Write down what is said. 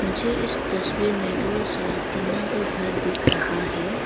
मुझे इस तस्वीर में बहुत सारा टीना का घर दिख रहा है।